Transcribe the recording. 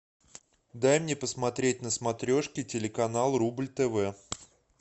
дай мне посмотреть на смотрешке телеканал рубль тв